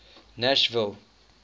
nashville